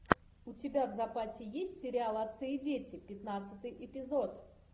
у тебя в запасе есть сериал отцы и дети пятнадцатый эпизод